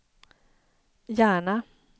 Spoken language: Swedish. Järna